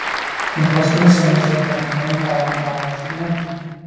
Hún brosti með sjálfri sér þegar hún kom auga á hann með áhöldin í hendinni.